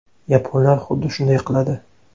Yaponlar xuddi shunday qiladi.